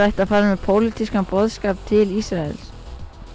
ætti að fara með pólitískan boðskap til Ísraels